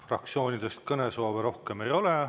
Fraktsioonidel rohkem kõnesoovi ei ole.